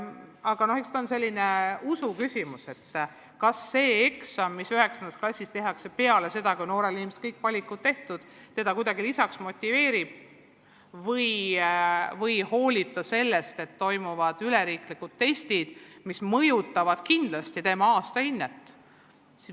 Aga eks ta ole selline usuküsimus, et kas eksam, mis 9. klassis tehakse peale seda, kui noorel inimesel on kõik valikud juba tehtud, teda kuidagi motiveerib või hoolib ta pigem sellest, et toimuvad üleriiklikud testid, mis mõjutavad kindlasti tema aastahinnet.